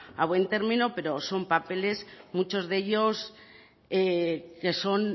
a buen término pero son papeles muchos de ellos que son